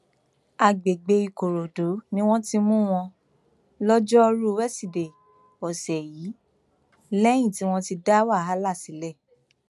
àgbègbè ìkòròdú ni wọn ti mú wọn lọjọrùú wíṣídẹẹ ọsẹ yìí lẹyìn tí wọn ti dá wàhálà sílẹ